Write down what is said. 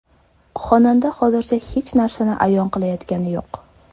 Xonanda hozircha hech narsani ayon qilayotgani yo‘q.